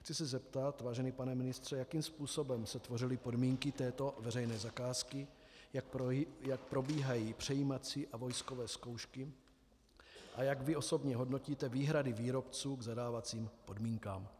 Chci se zeptat, vážený pane ministře, jakým způsobem se tvořily podmínky této veřejné zakázky, jak probíhají přejímací a vojskové zkoušky a jak vy osobně hodnotíte výhrady výrobců k zadávacím podmínkám.